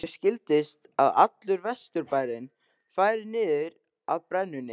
Mér skildist að allur Vesturbærinn færi niður að brennunni.